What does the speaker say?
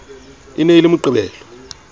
e ne e le moqebelo